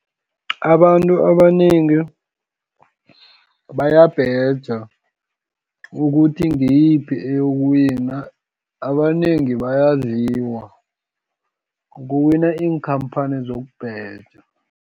Abantu abanengi, bayabheja ukuthi ngiyiphi eyokuwina, abanengi bayadliwa. Kuwina iinkhamphani zokubheja.